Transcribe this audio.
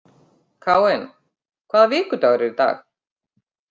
Káinn, hvaða vikudagur er í dag?